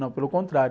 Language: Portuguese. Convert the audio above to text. Não, pelo contrário.